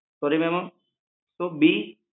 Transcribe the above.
Sorry ma'am શું બી?